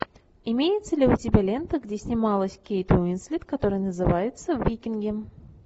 имеется ли у тебя лента где снималась кейт уинслет которая называется викинги